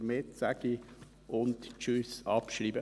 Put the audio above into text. Damit sage ich: Und tschüss, abschreiben!